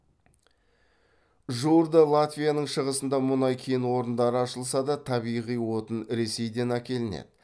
жуырда латвияның шығысында мұнай кен орындары ашылса да табиғи отын ресейден әкелінеді